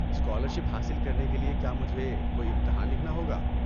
Scholarship حاصل کرنے کے لیے کیا مجھے کوئی امتحان لکھنا ہوگا؟